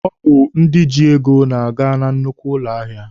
Ọ bụ ndị ji ego na-aga na nnukwu ụlọ ahịa.